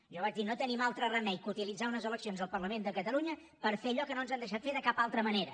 jo vaig dir no tenim altre remei que utilitzar unes eleccions al parlament de catalunya per fer allò que no ens han deixat fer de cap altra manera